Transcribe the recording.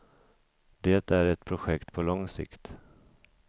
Det är ett projekt på lång sikt.